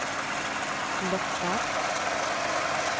lockar